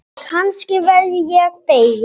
Kannski verð ég fegin.